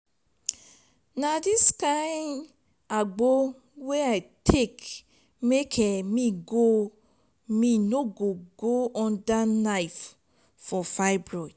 na di agbo wey i take make um me no go under knife for fibroid.